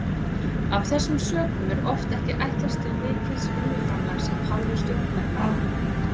Af þessum sökum er oft ekki ætlast til mikils vinnuframlags af hálfu stjórnarmanna.